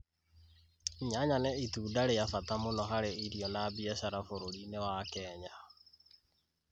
Nyanya nĩ Itunda rĩ bata mũno hari irio na biacara bũrũri-inĩ wa Kenya